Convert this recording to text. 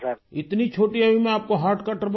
اتنی چھوٹی عمر میں آپ کو عارضہ قلب ہوگیا